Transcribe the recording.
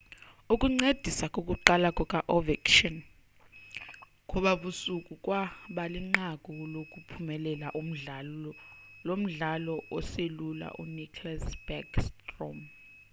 ukuncedisa kokuqala kuka-ovechkin ngobabusuku kwabalinqaku lokuphumelela umdlalo lomdlali oselula u-nicklas backstrom